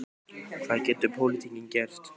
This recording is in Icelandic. Hvað getur pólitíkin gert?